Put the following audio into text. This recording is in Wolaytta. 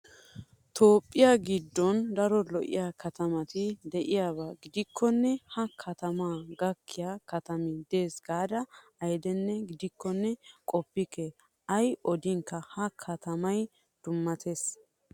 Toophphiyaa giddon daro lo'iyaa katamati diyaaba gidikkonne ha katamaa gakkiyaa katami des gaada ayidee gidiyaakkonne qoppikke. Ayi odinkka ha katamiyaa dummatawusu.